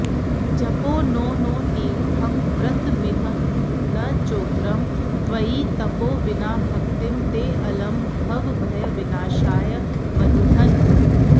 जपो नो नो तीर्थं व्रतमिह न चोग्रं त्वयि तपो विना भक्तिं तेऽलं भवभयविनाशाय मधुहन्